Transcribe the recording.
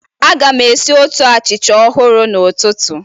Aga m esi otu achịcha ọhụrụ n'ụtụtụ